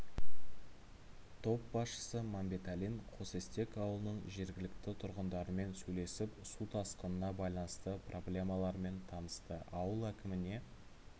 топ басшысы мәмбеталин қосестек ауылының жергілікті тұрғындарымен сөйлесіп су тасқынына байланысты проблемаларымен танысты ауыл әкіміне